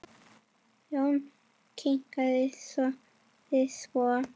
Jón hikaði, sagði svo